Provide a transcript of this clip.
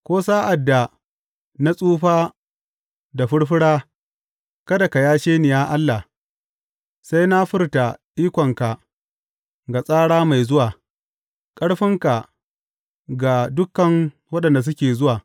Ko sa’ad da na tsufa da furfura, kada ka yashe ni, ya Allah, sai na furta ikonka ga tsara mai zuwa, ƙarfinka ga dukan waɗanda suke zuwa.